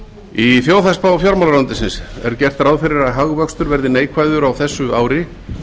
í þjóðhagsspá fjármálaráðuneytisins er gert ráð fyrir að hagvöxtur verði neikvæður á þessu ári